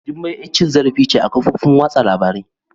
Jummai yar cin zarifi ce a kofofin wasa labari